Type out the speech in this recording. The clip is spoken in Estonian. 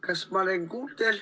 Kas ma olen kuuldel?